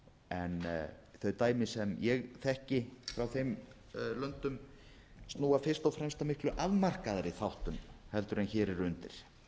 en þau dæmi sem ég þekki frá þeim löndum snúa fyrst og fremst að miklu afmarkaðri þáttum heldur en hér eru undir